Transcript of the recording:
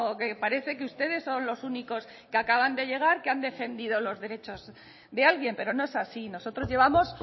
que parece que ustedes son los únicos que acaban de llegar que han defendido los derechos de alguien pero no es así nosotros llevamos